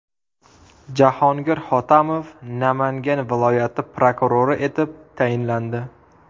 Jahongir Hotamov Namangan viloyati prokurori etib tayinlandi.